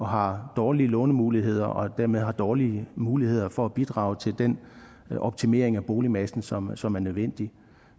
har dårlige lånemuligheder og dermed har dårlige muligheder for at bidrage til den optimering af boligmassen som som er nødvendig